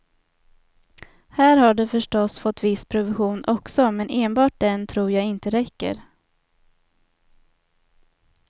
Här har de förstås fått viss provision också, men enbart den tror jag inte räcker.